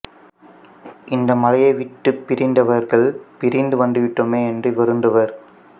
இந்த மலையை விட்டுப் பிரிந்தவர்கள் பிரிந்து வந்துவிட்டோமே என்று வருந்துவர்